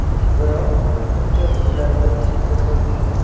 Biroq kimdir ularga chipta sotgan.